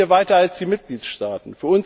Wir sind hier weiter als die Mitgliedstaaten.